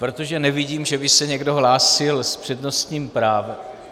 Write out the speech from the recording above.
Protože nevidím, že by se někdo hlásil s přednostním právem...